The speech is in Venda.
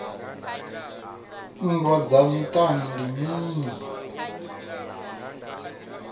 nndwa dza miṱani ndi mini